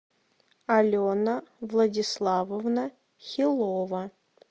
алена владиславовна хилова